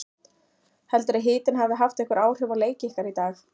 Heldurðu að hitinn hafi haft einhver áhrif á leik ykkar í dag?